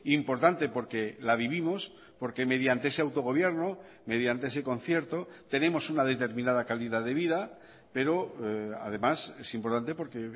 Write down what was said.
importante porque la vivimos porque mediante ese autogobierno mediante ese concierto tenemos una determinada calidad de vida pero además es importante porque